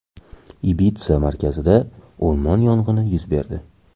Ibitsa markazida o‘rmon yong‘ini yuz berdi.